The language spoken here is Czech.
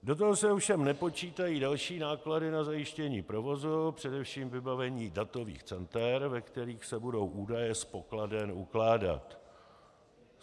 Do toho se ovšem nepočítají další náklady na zajištění provozu, především vybavení datových center, ve kterých se budou údaje z pokladen ukládat.